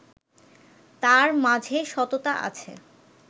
তার মাঝে সততা আছে